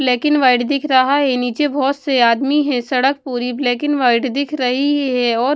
Black and white दिख रहा है नीचे बहुत से आदमी है। सड़क पूरी ब्लैक एंड व्हाइट दिख रही है और --